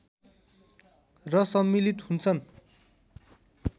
र सम्मिलित हुन्छन्